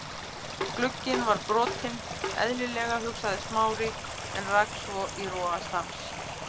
Glugginn var brotinn- eðlilega, hugsaði Smári en rak svo í rogastans.